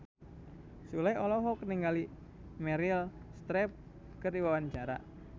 Sule olohok ningali Meryl Streep keur diwawancara